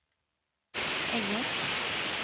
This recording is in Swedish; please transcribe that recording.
engelsk